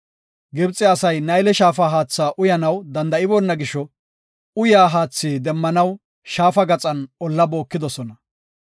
Gibxe asay Nayle Shaafa haatha uyanaw danda7iboona gisho, uyiya haathi demmanaw Shaafa gaxan olla bookidosona.